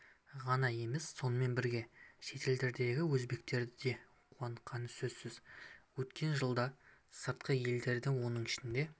ғана емес сонымен бірге шетелдердегі өзбектерді де қуантқаны сөзсіз өткен жылда сыртқы елдерге оның ішінде